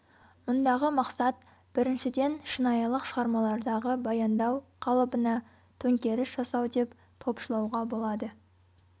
мұндағы мақсат біріншіден шынайылық шығармалардағы баяндау қалыбына төңкеріс жасау деп топшылауға болады